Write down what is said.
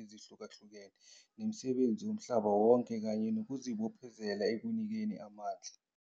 ezihlukahlukene nomsebenzi womhlaba wonke kanye nokuzibophezela ekunikeni amandla.